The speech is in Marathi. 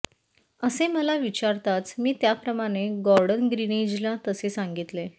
असे मला विचारताच मी त्याप्रमाणे गॉर्डन ग्रीनीजला तसे सांगितले